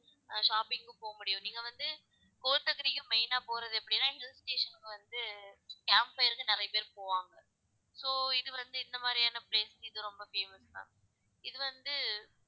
அஹ் shopping போகமுடியும் நீங்க வந்து கோத்தகிரியும் main ஆ போறது எப்படினா hill station க்கு வந்து camp fire க்கு நிறைய பேர் போவங்க so இது வந்து இந்த மாதிரியான place க்கு இது ரொம்ப famous ma'am இது வந்து